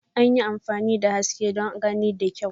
An yi amfani da haske don gani da kyau.